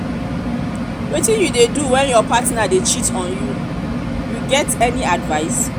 wetin you dey do when your partner dey cheat on you you get any advice?